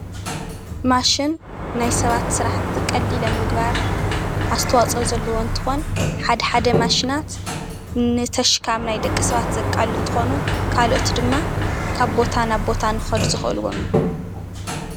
ማሽን ናይ ሰባት ስራሕቲ ቀሊል ኣብ ምግባር ኣስተዋፅኦ ዘለዎ እንትኾን ሓደ ሓደ ሓደ ማሽናት ንተሽካም ናይ ደቂ ሰባት ዘቃልሉ እንትኾኑ ካልኦት ድማ ካብ ቦታ ናብ ቦታ ንኽኸዱ ዘኽእልዎም እዮም፡፡